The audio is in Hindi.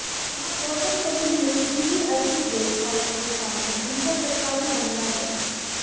यहां गौतमपल्ली में वीवीआईपी गेस्ट हाउस के सामने उनका सरकारी बंगला है